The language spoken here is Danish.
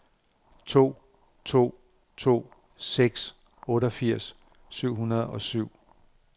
to to to seks otteogfirs syv hundrede og syv